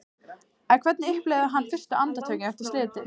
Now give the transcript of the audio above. En hvernig upplifði hann fyrstu andartökin eftir slysið?